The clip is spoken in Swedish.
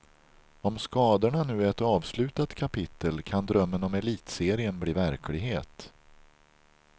Om skadorna nu är ett avslutat kapitel, kan drömmen om elitserien bli verklighet.